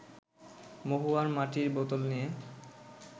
মহুয়ার মাটির বোতল নিয়ে